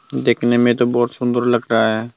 देखने में तो बहोत सुंदर लग रहा है।